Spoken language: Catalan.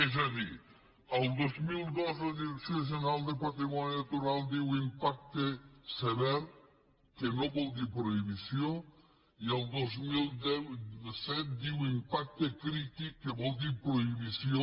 és a dir el dos mil dos la direcció general de patrimoni natural diu impacte sever que no vol dir prohibició i el dos mil set diu impacte crític que vol dir prohibició